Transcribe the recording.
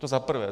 To za prvé.